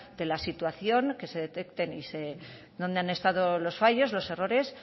de la situación que se detecten dónde han estado los fallos los errores